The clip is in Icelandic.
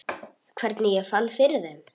Hvernig ég fann fyrir þeim?